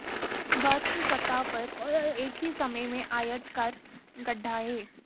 बर्फ की सतह पर एक ही समय में आयताकार गड्ढा है